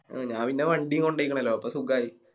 ഞാപിന്നെ വണ്ടി കൊണ്ടോയിക്കണല്ലോ അപ്പൊ സുഖായി